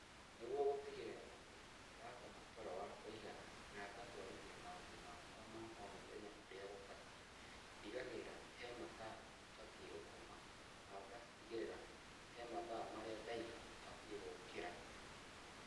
Nĩguo gũtigĩrĩra atĩ nĩ ndakoma toro wa kũĩgana na ngatwarithia maũndũ makwa ma o mũthenya ũrĩa gũbatiĩ, ndigagĩrĩra he mathaa batie gũkoma na ngatigĩrĩra he mathaa marĩa ndaiga batie gũũkĩra.